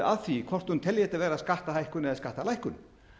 að því hvort hún telji þetta vera skattahækkun eða skattalækkun